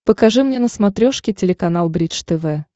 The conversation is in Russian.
покажи мне на смотрешке телеканал бридж тв